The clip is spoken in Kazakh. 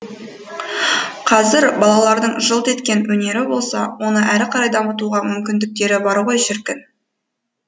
қазір балалардың жылт еткен өнері болса оны әрі қарай дамытуға мүмкіндіктері бар ғой шіркін